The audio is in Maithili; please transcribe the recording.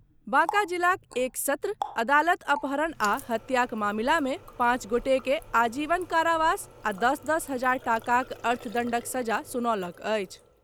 बांका जिलाक एक सत्र अदालत अपहरण आ हत्याक मामिला मे पाँच गोटेकेँ आजीवन कारावास आ दस दस हजार टाकाक अर्थदण्डक दण्ड सुनौलक अछि।